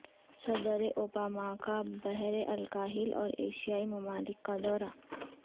صدر اوباما کا بحرالکاہل اور ایشیائی ممالک کا دورہ